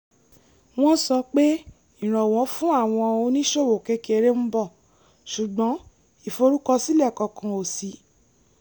wọ́n sọ pé ìrànwọ́ fún àwọn oníṣòwò kékeré ń bọ̀ ṣùgbọ́n ìforúkọsílẹ̀ kankan ò ṣí